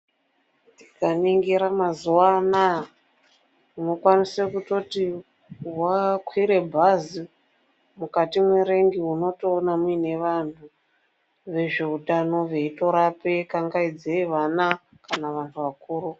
Ukaningira mazuwa anaya unokwanise kutoti wakwire bhazi mukati mwerengi unotoona muine vantu vezveutano veitorapa kangaidze vana kana vantu vakuru.